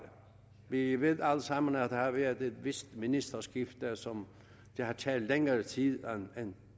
vi ved alle sammen at der har været et vist ministerskifte som har taget længere tid end